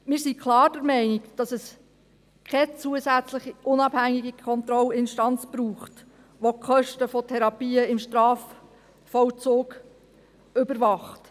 Wir sind klar der Meinung, dass es keine zusätzliche, unabhängige Kontrollinstanz braucht, welche die Kosten der Therapien im Strafvollzug überwacht.